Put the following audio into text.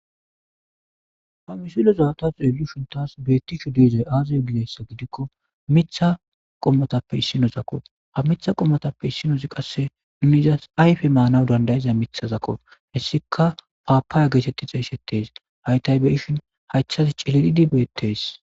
Ha misileza ta xelishini tassi betishshe deizayi aze gikko miththa qommozappe issinozakko ha miththa qommozappe issinozi qase aze gikko miza manasi danidaiza qomozakko hesikka paappaya getetidi xesetesi ha tani beishshinikka iza hayithazi cililidi bettesi